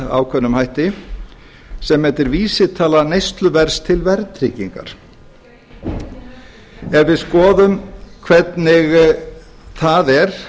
ákveðnum hætti sem heitir vísitala neysluverðs til verðtryggingar ef við skoðum hvernig það er